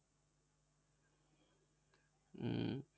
হম